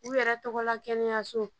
U yɛrɛ tɔgɔ la kɛnɛya so